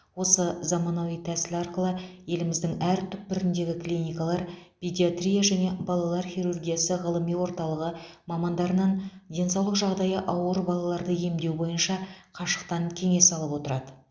осы заманауи тәсіл арқылы еліміздің әр түкпіріндегі клиникалар педиатрия және балалар хирургиясы ғылыми орталығы мамандарынан денсаулық жағдайы ауыр балаларды емдеу бойынша қашықтан кеңес алып отырады